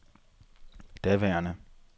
daværende